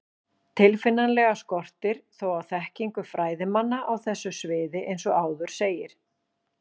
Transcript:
Tilfinnanlega skortir þó á þekkingu fræðimanna á þessu sviði eins og áður segir.